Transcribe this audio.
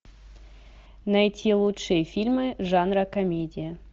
найти лучшие фильмы жанра комедия